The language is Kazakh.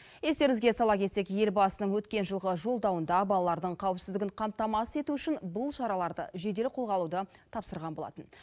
естеріңізге сала кетсек елбасының өткен жылғы жолдауында балалардың қауіпсіздігін қамтамасыз ету үшін бұл шараларды жедел қолға алуды тапсырған болатын